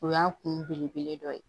O y'an kun belebele dɔ ye